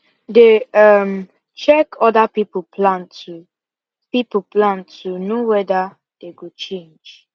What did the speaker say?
they um check other people plan to people plan to know wether dey go change